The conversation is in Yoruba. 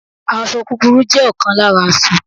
Aṣọ kúkúrú jẹ́ ọ̀kan lára aṣọ